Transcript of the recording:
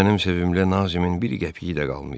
Mənim sevimli Nazimin bir qəpiyi də qalmayıb.